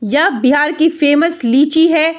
यह बिहार की famous lychee है।